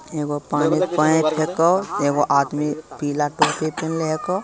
एगो पानी पऐक हेको एगो आदमी पीला टोपी पहीनले हेको।